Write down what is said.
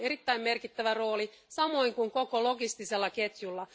Niillä on erittäin merkittävä rooli, samoin kuin koko logistisella ketjulla.